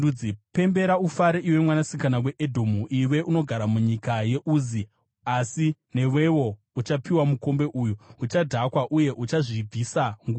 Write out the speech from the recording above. Pembera ufare, iwe Mwanasikana weEdhomu, iwe unogara munyika yeUzi. Asi newewo uchapiwa mukombe uyu; uchadhakwa uye uchazvibvisa nguo.